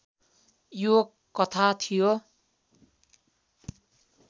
यो कथा थियो